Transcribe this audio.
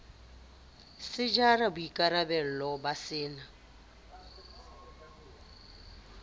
se jara boikarabello ba sena